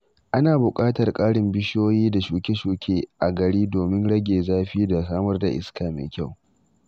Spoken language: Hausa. Ana buƙatar ƙarin bishiyoyi da shuke-shuke a gari domin rage zafi da samar da iska mai kyau.